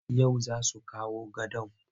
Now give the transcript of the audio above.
Yau za su kawo gadon.